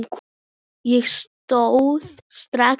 Ég stóð strax upp.